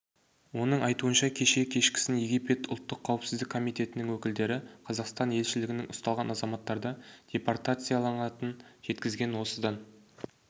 оның айтуынша кеше кешкісін египет ұлттық қауіпсіздік комитетінің өкілдері қазақстан елшілігіне ұсталған азаматтарды депортациялайтынын жеткізген осыдан